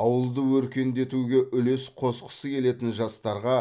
ауылды өркендетуге үлес қосқысы келетін жастарға